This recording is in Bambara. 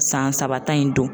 San saba tan in don.